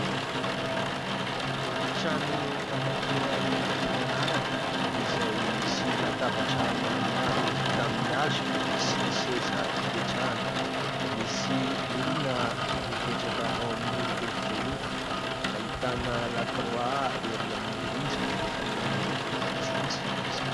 Efitrano anankiray fianarana izay misy latabatra maromaro vita amin'ny hazo sy seza ipetrahana, misy olona mipetraka ao amin'io efitra io, ahitana lakroa erỳ amin'ny rindrina ary miloko fotsifotsy izany.